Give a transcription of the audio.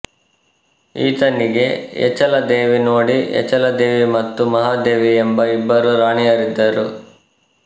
ಈತನಿಗೆ ಏಚಲದೇವಿ ನೋಡಿ ಏಚಲದೇವಿ ಮತ್ತು ಮಹಾದೇವಿ ಎಂಬ ಇಬ್ಬರು ರಾಣಿಯರಿದ್ದರು